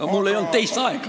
Aga mul ei olnud teist aega!